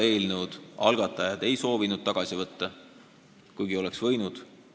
Eelnõu algatajad ei soovinud seda tagasi võtta, kuigi nad oleks võinud seda teha.